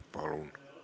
Palun!